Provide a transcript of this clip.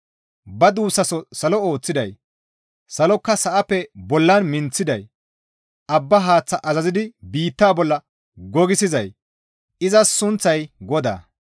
Ba duussaso salo ooththiday, salokka sa7appe bollan minththiday, abba haath azazidi biitta bolla gogissizay izas sunththay GODAA.